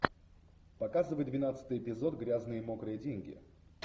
показывай двенадцатый эпизод грязные мокрые деньги